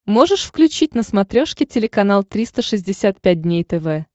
можешь включить на смотрешке телеканал триста шестьдесят пять дней тв